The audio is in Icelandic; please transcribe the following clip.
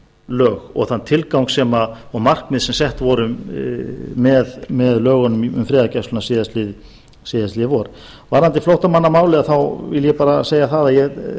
lög og þann tilgang og markmið sem sett voru með lögunum um friðargæsluna síðastliðið vor varðandi flóttamannamálið vil ég bara segja það að ég